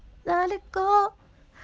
далеко